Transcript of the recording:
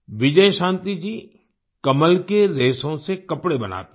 विजयशांति जी कमल के रेशों से कपड़े बनाती हैं